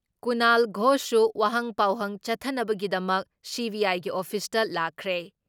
ꯀꯨꯅꯥꯜ ꯘꯣꯁꯁꯨ ꯋꯥꯍꯪ ꯄꯥꯎꯍꯪ ꯆꯠꯊꯅꯕꯒꯤꯗꯃꯛ ꯁꯤ.ꯕꯤ.ꯑꯥꯏꯒꯤ ꯑꯣꯐꯤꯁꯇ ꯂꯥꯛꯈ꯭ꯔꯦ ꯫